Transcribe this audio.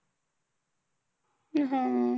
हम्म